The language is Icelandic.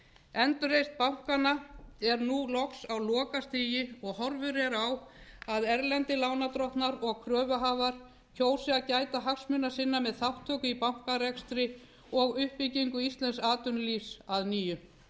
endurreisn bankanna er nú loks á lokastigi og horfur eru á að erlendir lánardrottnar og kröfuhafar kjósi að gæta hagsmuna sinna með þátttöku í bankarekstri og uppbyggingu íslensks atvinnulífs að nýju